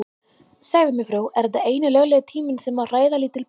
Segðu mér frú, er þetta eini löglegi tíminn sem má hræða lítil börn?